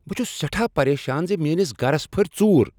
بہٕ چُھس سیٹھاہ پریشان زِ میٲنس گرس پھٔرۍ ژُور۔